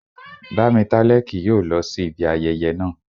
Bámitálẹ́ kì yóò lọ sí ibi ayẹyẹ naa